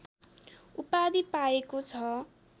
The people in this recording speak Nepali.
उपाधि पाएको छ